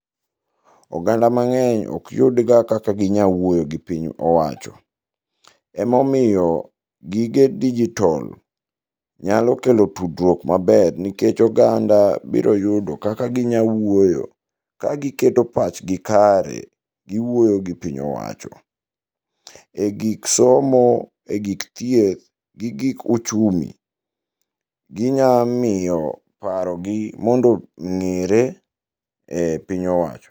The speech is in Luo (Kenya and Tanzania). Oganda mang'eny ok yud ga kaka ginya wuoyo gi piny owacho. Emomiyo gige digital nyalo kelo tudruok aber nikech oganda biro yudo kaka ginya wuoyo ka giketo pachgi kare, giwuoyo gi pich owacho. E gik somo e gik thieth gi gik uchumi, ginya miyo paro gi mondo ong'ere e piny owacho.